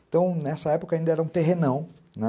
Então, nessa época ainda era um terrenão, né?